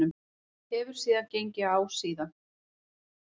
Hefur eitthvað gengið á síðan?